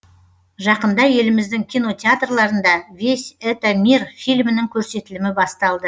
жақында еліміздің кинотеатрларында весь это мир фильмінің көрсетілімі басталды